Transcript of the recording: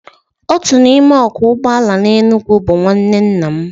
Otu n'ime ọkwọ ụgbọelu n'Enugu bụ nwanne nna m